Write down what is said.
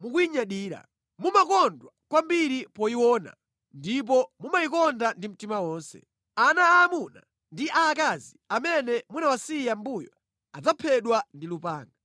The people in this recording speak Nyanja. mukuyinyadira. Mumakondwa kwambiri poyiona, ndipo mumayikonda ndi mtima onse. Ana aamuna ndi aakazi amene munawasiya mʼmbuyo adzaphedwa ndi lupanga.